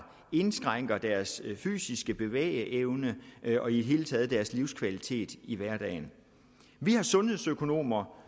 indskrænker deres fysiske bevægeevne og i det hele taget deres livskvalitet i hverdagen vi har sundhedsøkonomer